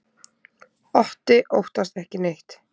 Otti óttast ekki neitt!